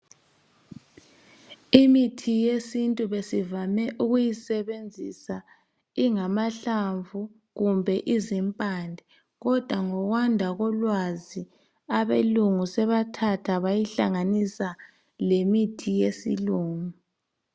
Imithi yesintu besivame ukuyisebenzisa ingamahlamvu kumbe izimpande kodwa ngokwanda kolwazi abelungu sebathatha bayihlanganisa lemithi yesilungu.